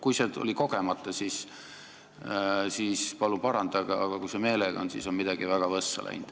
Kui see tuli kogemata, siis palun parandage, aga kui te meelega nii ütlesite, siis on midagi väga võssa läinud.